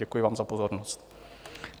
Děkuji vám za pozornost.